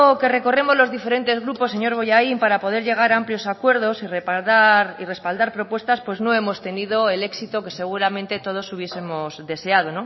que recorremos los diferentes grupos señor bollain para poder llegar a amplios acuerdos y respaldar propuestas pues no hemos tenido el éxito que seguramente todos hubiesemos deseado